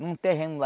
Num terreno lá.